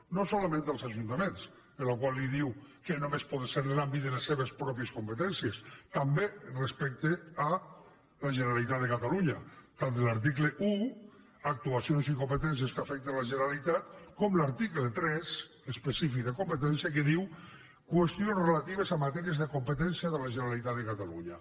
no solament els ajuntaments als quals diu que només poden ser en l’àmbit de les seves pròpies competències també respecte a la generalitat de catalunya tant de l’article un actuacions i competències que afecten la generalitat com de l’article tres específic de competències que diu qüestions relatives a matèries de competència de la generalitat de catalunya